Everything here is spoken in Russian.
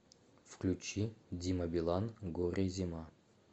включи дима билан горе зима